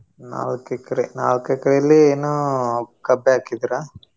ನಾಲ್ಕ್ acre ನಾಲ್ಕ್ acre ಲಿ ಏನು ಕಬ್ಬೆ ಹಾಕಿದ್ರಾ?